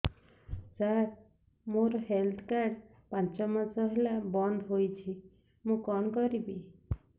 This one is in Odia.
ସାର ମୋର ହେଲ୍ଥ କାର୍ଡ ପାଞ୍ଚ ମାସ ହେଲା ବଂଦ ହୋଇଛି ମୁଁ କଣ କରିବି